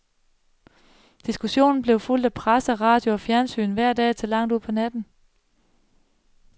Diskussionen blev fulgt af presse, radio og fjernsyn, hver dag til langt ud på natten.